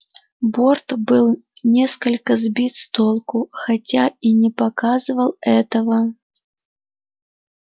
борт был несколько сбит с толку хотя и не показывал этого